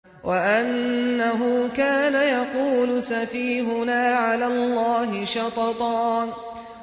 وَأَنَّهُ كَانَ يَقُولُ سَفِيهُنَا عَلَى اللَّهِ شَطَطًا